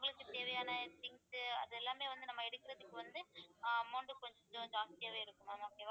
அவங்களுக்குத் தேவையான things அது எல்லாமே வந்து நம்ம எடுக்கிறதுக்கு வந்து ஆஹ் amount கொஞ்சம் ஜாஸ்தியாவே இருக்கும் ma'am okay வா